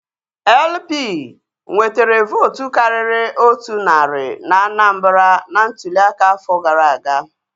LP nwetere vootu karịrị otu narị na Anambra na ntụli aka afọ gara aga